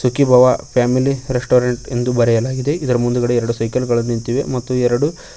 Sukhibhava family restaurant ಎಂದು ಬರೆಯಲಾಗಿದೆ ಇದರ ಮುಂದ್ಗಡೆ ಎರಡು ಸೈಕಲ್ ಗಳು ನಿಂತಿವೆ ಮತ್ತು ಎರಡು--